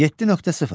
7.0.